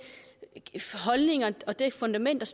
holdning og det fundament